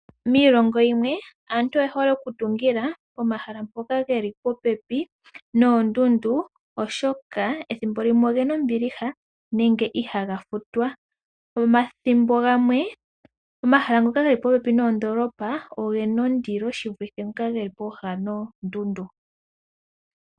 Miilongo yimwe, aantu oye hole oku tungila pomahala mpono ge li popepi noondundu, oshoka thimbo limwe oge ba ombiliha oshoka iha ga futwa. Omathimbo gamwe omahala ngoka ge li popepi noondolopa ogena ondilo shi vulithe ngoka ge li popepi noondundu.